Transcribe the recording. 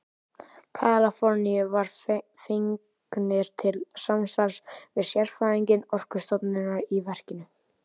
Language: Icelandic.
Kaliforníu voru fengnir til samstarfs við sérfræðinga Orkustofnunar í verkinu.